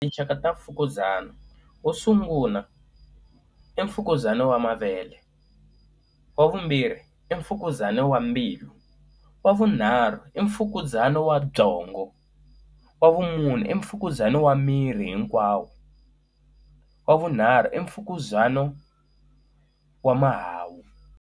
Tinxaka ta mfukuzana, wo sungula, i mfukuzana wa mavele. Wa vumbirhi i mfukuzana wa mbilu. Wa vunharhu i mfukuzana wa byongo. Wa vumune i mfukuzana wa miri hinkwawo. Wa vunharhu i mfukuzana wa mahawu.